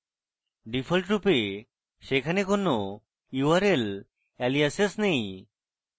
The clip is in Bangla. ডিফল্টরূপে সেখানে কোনো url aliases নেই